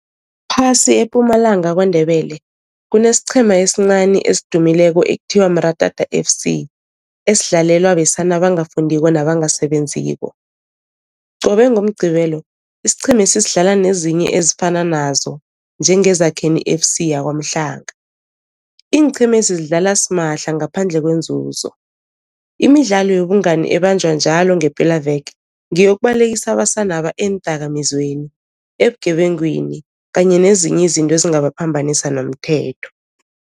Phasi ePumalanga, KwaNdebele, kunesiqhema esincani esidumileko ekuthiwa Mratata F_C esidlalelwa besana abangafundiko nabangasebenziko. Qobe ngoMgqibelo isiqhema lesi sidlala nezinye ezifana nazo njengeZakheni F_C yaKwaMhlanga, iinqhemezi zidlala simahla ngaphandle kwenzuzo. Imidlalo yobungani ebanjwa njalo ngepelaveke ngeyokubalekisa abasanaba eendakamizweni, ebugebengwini kanye nezinye izinto ezingabaphambanisa nomthetho.